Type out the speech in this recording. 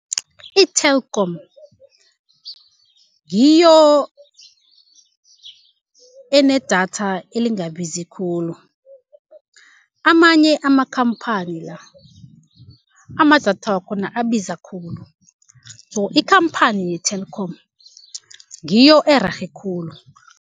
I-Telkom ngiyo enedatha elingabizi khulu. Amanye amakhamphani la, ama-datha wakhona abiza khulu. So, ikhamphani ye-Telkom ngiyo ererhe khulu.